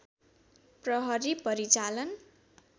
प्रहरी परिचालन